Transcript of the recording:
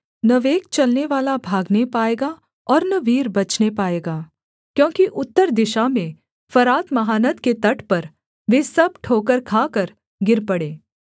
न वेग चलनेवाला भागने पाएगा और न वीर बचने पाएगा क्योंकि उत्तर दिशा में फरात महानद के तट पर वे सब ठोकर खाकर गिर पड़े